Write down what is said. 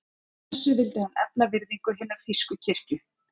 Með þessu vildi hann efla virðingu hinnar þýsku kirkju.